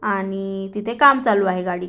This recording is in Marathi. आणि तिथे काम चालू आहे गाडीच--